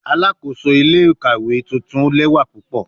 Alakoso ile-ikawe tuntun lẹwa pupọ